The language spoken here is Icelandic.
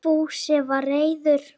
Fúsi var reiður.